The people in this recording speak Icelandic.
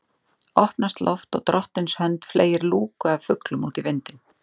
Opnast loft og drottins hönd fleygir lúku af fuglum út í vindinn